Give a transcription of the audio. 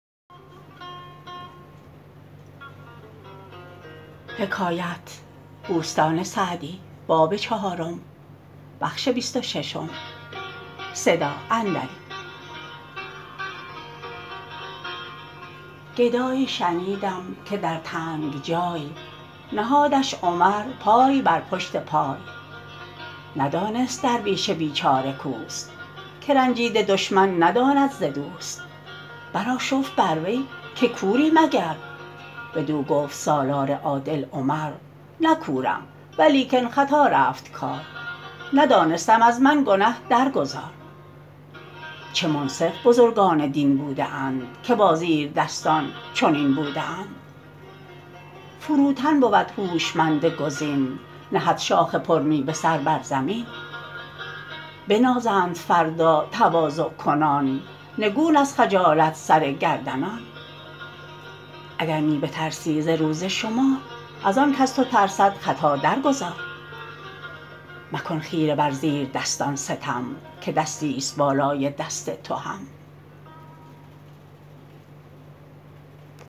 گدایی شنیدم که در تنگ جای نهادش عمر پای بر پشت پای ندانست درویش بیچاره کاوست که رنجیده دشمن نداند ز دوست برآشفت بر وی که کوری مگر بدو گفت سالار عادل عمر نه کورم ولیکن خطا رفت کار ندانستم از من گنه در گذار چه منصف بزرگان دین بوده اند که با زیردستان چنین بوده اند فروتن بود هوشمند گزین نهد شاخ پر میوه سر بر زمین بنازند فردا تواضع کنان نگون از خجالت سر گردنان اگر می بترسی ز روز شمار از آن کز تو ترسد خطا در گذار مکن خیره بر زیر دستان ستم که دستی است بالای دست تو هم